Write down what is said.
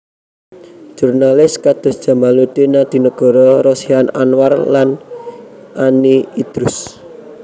Jurnalis kados Djamaluddin Adinegoro Rosihan Anwar lan Ani Idrus